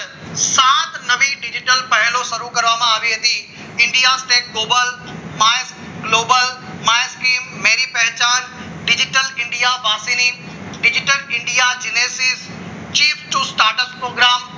સાત નવી digital પહેલો શરૂ કરવામાં આવી હતી India state global my scheme Meri Pehchaan digital India programme